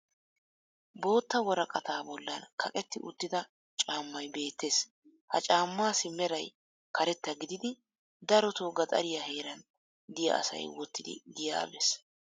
Bootta woraqataa bollan kaqetti uttida caammay beettees. Ha caamaassi meray karetta gididi darotoo gaxariya heeran diya asay wottidi giyaa be'ees